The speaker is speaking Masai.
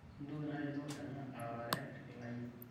mintoki natito ena arare layiok